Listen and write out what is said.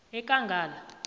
ekangala